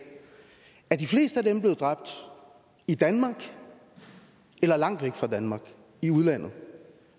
er de fleste af dem blevet dræbt i danmark eller langt væk fra danmark i udlandet